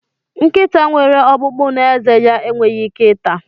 Nkịta nwere ọkpụkpụ n'ezé ya enweghị ike ata.